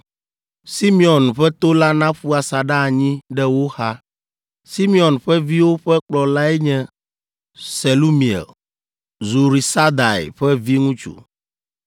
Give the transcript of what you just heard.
Simeon ƒe to la naƒu asaɖa anyi ɖe wo xa. Simeon ƒe viwo ƒe kplɔlae nye Selumiel, Zurisadai ƒe viŋutsu,